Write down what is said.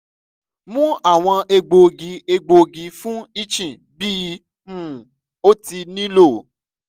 mu awọn egboogi egboogi fun itching bi um o ti nilo